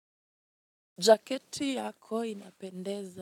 Jaketi yako inapendeza.